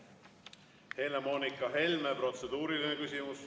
Helle-Moonika Helme, protseduuriline küsimus.